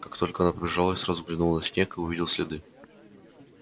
как только она побежала я сразу взглянул на снег и увидел следы